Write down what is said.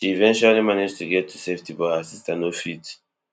she eventually manage to get to safety but her sister no fit